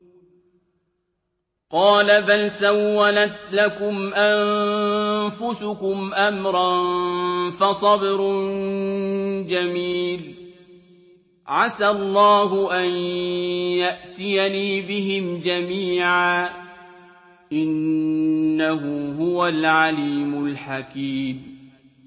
قَالَ بَلْ سَوَّلَتْ لَكُمْ أَنفُسُكُمْ أَمْرًا ۖ فَصَبْرٌ جَمِيلٌ ۖ عَسَى اللَّهُ أَن يَأْتِيَنِي بِهِمْ جَمِيعًا ۚ إِنَّهُ هُوَ الْعَلِيمُ الْحَكِيمُ